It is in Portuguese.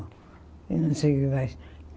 Eu não sei o que mais.